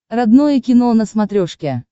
родное кино на смотрешке